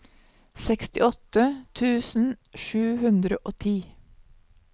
sekstiåtte tusen sju hundre og ti